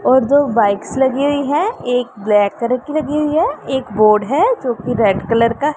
और दो बाइक्स लगी हुई है एक ब्लैक कलर कि लगी हुई है एक बोर्ड है जो की रेड कलर का--